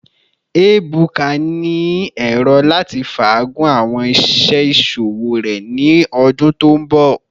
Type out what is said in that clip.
Ebuka ni ero lati faagun awọn iṣẹ iṣowo rẹ ni ọdun to nbọ